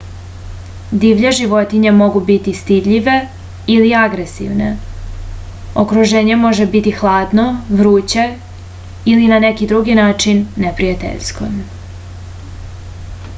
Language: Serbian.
divlje životinje mogu biti stidljive ili agresivne okruženje može biti hladno vruće ili na neki drugi način neprijateljsko